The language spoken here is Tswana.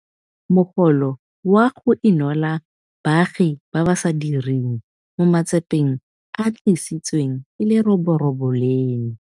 Mogolo wa go Inola Baagi ba ba sa Direng mo Matsapeng a a Tlisitsweng ke Leroborobo leno.